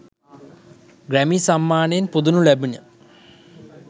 Grammy සම්මානයෙන් පුදනු ලැබිණ.